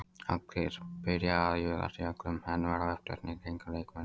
Allir byrja að juðast í öllum, menn verða uppteknir í kringum leikmennina.